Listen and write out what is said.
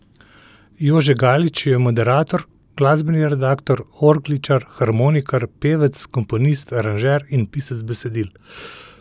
Jože Galič je moderator, glasbeni redaktor, orgličar, harmonikar, pevec, komponist, aranžer in pisec besedil.